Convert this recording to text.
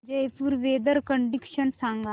Jaipur weather condition सांगा